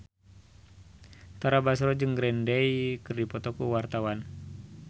Tara Basro jeung Green Day keur dipoto ku wartawan